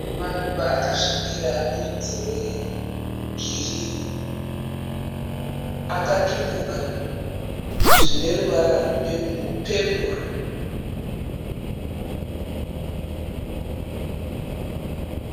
Maruva akasvibira ane rudzi rwegirini akatumbuka zvine ruvara rwepepuru.